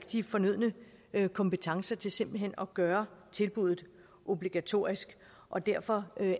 de fornødne kompetencer til simpelt hen at gøre tilbuddet obligatorisk og derfor